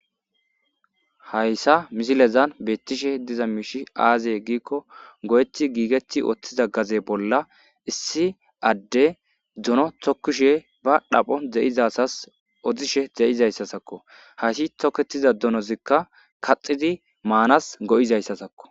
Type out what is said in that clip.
Hayssa misilezan beettishe diza miishi aaze giikko go7eti giigetti ooththiza gaze bolla issi adde duno tokkishe ba dhapho de7izasas odishe ze7izayssasakko hayssi toketiza dunozikka kaxidi maanas go7izayssasakko.